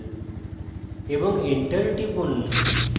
এবং enter টিপুন